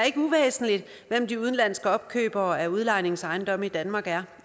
ikke uvæsentligt hvem de udenlandske opkøbere af udlejningsejendomme i danmark er